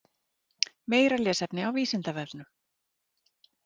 Meira lesefni á Vísindavefnum: